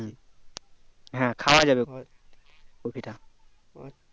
হ্যাঁ খাওয়া যাবে খাওয়া যাবে কপিটা